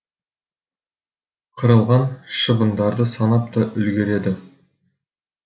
қырылған шыбындарды санап та үлгереді